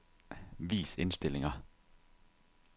Vis indstillinger.